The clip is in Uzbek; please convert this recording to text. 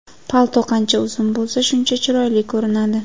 Palto qancha uzun bo‘lsa, shuncha chiroyli ko‘rinadi.